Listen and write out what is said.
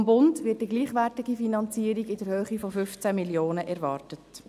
Vom Bund wird die gleichwertige Finanzierung in der Höhe von 15 Mio. Franken erwartet.